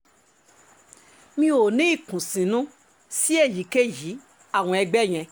mi ò ní ìkùnsínú sí èyíkéyìí àwọn ẹgbẹ́ yẹn